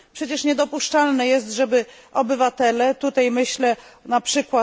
Przecież niedopuszczalne jest, żeby obywatele tutaj myślę np.